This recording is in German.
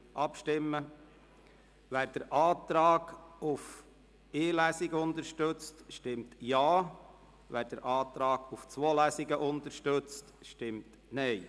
Wer den Antrag auf eine Lesung unterstützt, stimmt Ja, wer den Antrag auf zwei Lesungen unterstützt, stimmt Nein.